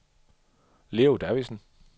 Leo Davidsen